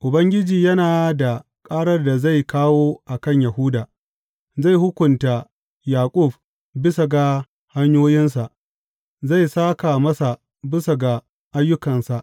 Ubangiji yana da ƙarar da zai kawo a kan Yahuda; zai hukunta Yaƙub bisa ga hanyoyinsa zai sāka masa bisa ga ayyukansa.